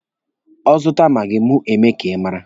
Ọ zụta maagi, mụ emee ka ị mara.